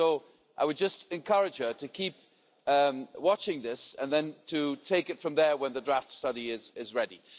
So I would just encourage her to keep watching this and then to take it from there when the draft study is ready.